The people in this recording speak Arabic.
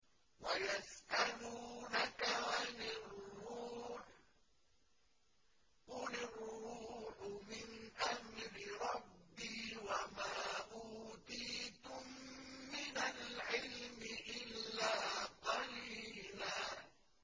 وَيَسْأَلُونَكَ عَنِ الرُّوحِ ۖ قُلِ الرُّوحُ مِنْ أَمْرِ رَبِّي وَمَا أُوتِيتُم مِّنَ الْعِلْمِ إِلَّا قَلِيلًا